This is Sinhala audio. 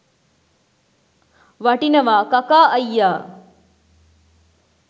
වටිනවා කකා අයියා